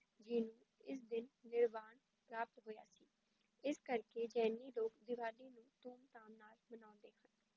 ਜੀ ਨੂੰ ਇਸ ਦਿਨ ਨਿਰਵਾਨ ਪ੍ਰਾਪਤ ਹੋਇਆ ਸੀ, ਇਸ ਕਰਕੇ ਜੈਨੀ ਲੋਕ ਦੀਵਾਲੀ ਨੂੰ ਧੂਮ ਧਾਮ ਨਾਲ ਮਨਾਉਂਦੇ ਹਨ।